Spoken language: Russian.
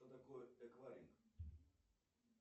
что такое эквайринг